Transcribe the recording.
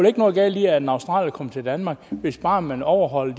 ikke noget galt i at en australier kommer til danmark hvis bare man overholder